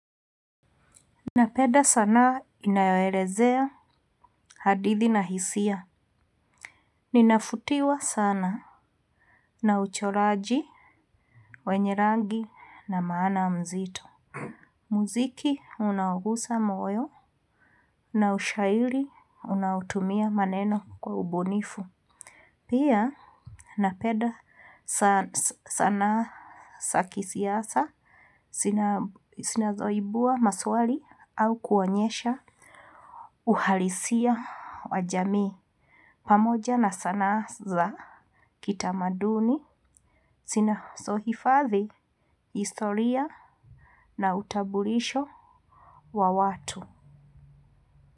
Napeda sana inayoelezea hadithi na hisia. Ninafutiwa sana na uchoraji, wenye rangi na maana mzito. Muziki unaugusa moyo na ushaili unaotumia maneno kwa ubunifu. Pia napeda sana saki siyasa sina zoibua maswali au kuonyesha uhalisia wajamii. Pamoja na sanaa za kitamaduni, sinasohifadhi, historia na utabulisho wa watu.